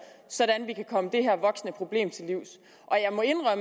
sådan at vi kan komme det her voksende problem til livs